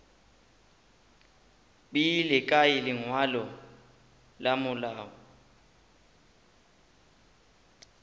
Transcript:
beile kae lengwalo la malao